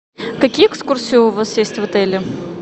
какие экскурсии у вас есть в отеле